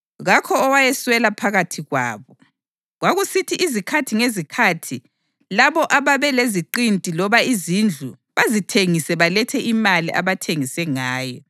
Kakho owayeswela phakathi kwabo. Kwakusithi izikhathi ngezikhathi labo ababe leziqinti loba izindlu bazithengise balethe imali abathengise ngayo